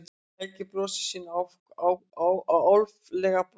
Helgi brosir sínu álfalega brosi.